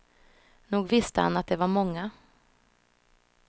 Nog visste han att det var många.